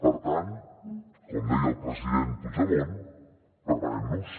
per tant com deia el president puigdemont preparem nos